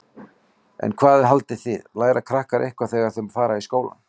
En hvað haldið þið, læra krakkar eitthvað þegar þau fara í skólann?